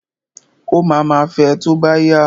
Ó ma ma fẹ tó bá yá.